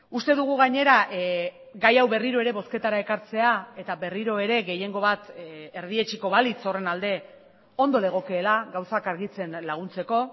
uste dugu gainera gai hau berriro ere bozketara ekartzea eta berriro ere gehiengo bat erdietsiko balitz horren alde ondo legokeela gauzak argitzen laguntzeko